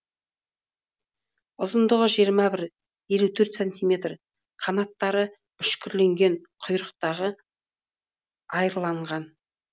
ұзындығы жиырма бір елу төрт сантиметр қанаттары үшкірленген құйрықтары айрланған